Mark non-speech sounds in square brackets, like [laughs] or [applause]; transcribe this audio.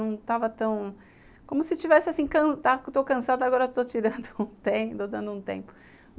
Não estava tão... Como se estivesse assim, estou cansada, agora estou [laughs] dando um tempo.